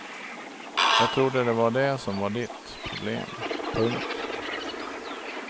Jag trodde det var det som var ditt problem. punkt